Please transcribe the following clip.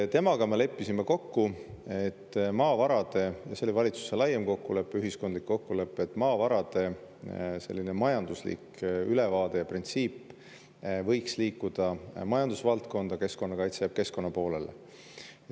Temaga me leppisime kokku – ja see oli valitsuse laiem kokkulepe, ühiskondlik kokkulepe –, et maavarade majanduslik ülevaade ja printsiip võiks liikuda majandusvaldkonda ja keskkonnakaitse jääb keskkonna poolele.